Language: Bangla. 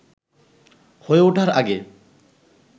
হয়ে ওঠার আগে